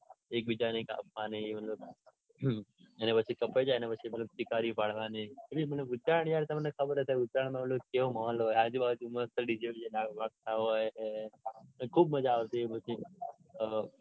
એકબીજાની કાપવાની મતલબ હમ અને પછી કપાઈ જાય ને પછી કિંકરી પાડવાની. એ નઈ વિચાર કેવો માહોલ હોય ઉત્તરાયણ માં આજુબાજુ મસ્ત dj બીજે વાગતા હોય અઅ ખુબ મજા આવતી એ પછી.